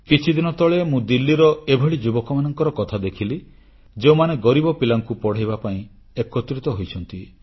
କିଛିଦିନ ତଳେ ମୁଁ ଦିଲ୍ଲୀର ଏଭଳି ଯୁବକମାନଙ୍କର କଥା ଦେଖିଲି ଯେଉଁମାନେ ଗରିବ ପିଲାଙ୍କୁ ପଢ଼ାଇବା ପାଇଁ ଏକତ୍ରିତ ହୋଇଛନ୍ତି